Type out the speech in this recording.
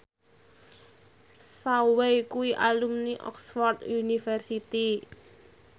Zhao Wei kuwi alumni Oxford university